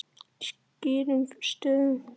Skýrum stöfum.